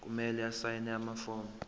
kumele asayine amafomu